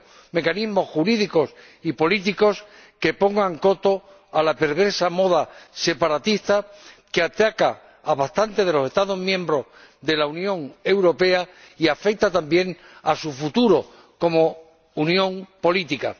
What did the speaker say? mecanismos jurídicos y políticos que pongan coto a la perversa moda separatista que ataca a bastantes de los Estados miembros de la Unión Europea y afecta, también, a su futuro como unión política.